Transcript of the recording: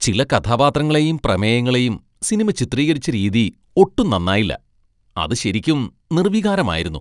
ചില കഥാപാത്രങ്ങളെയും പ്രമേയങ്ങളെയും സിനിമ ചിത്രീകരിച്ച രീതി ഒട്ടും നന്നായില്ല. അത് ശെരിയ്ക്കും നിർവികാരമായിരുന്നു .